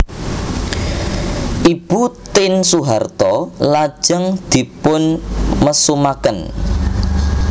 Ibu Tien Soeharto lajeng dipunmesumaken